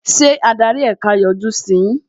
Ṣé adarí ẹ̀ka yọjú sí yín?